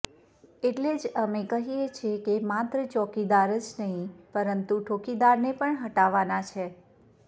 એટલે જ અમે કહિએ છે કે માત્ર ચોકીદાર જ નહીં પરંતુ ઠોકીદારને પણ હટાવાના છે